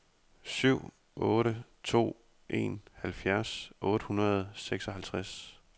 syv otte to en halvfjerds otte hundrede og seksoghalvtreds